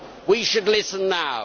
we should listen now.